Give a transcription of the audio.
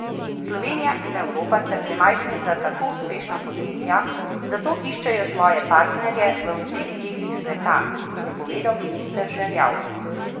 Slovenija in Evropa sta premajhni za tako uspešna podjetja, zato iščejo svoje partnerje v vseh delih sveta, je povedal minister Žerjav.